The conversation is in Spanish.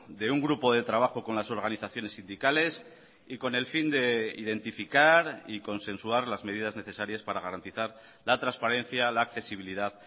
de un grupo de trabajo con las organizaciones sindicales y con el fin de identificar y consensuar las medidas necesarias para garantizar la transparencia la accesibilidad